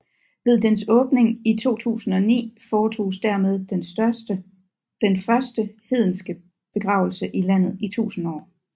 Ved dens åbning i 2009 foretoges dermed den første hedenske begravelse i landet i 1000 år